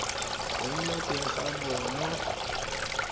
go nna teng ga bonno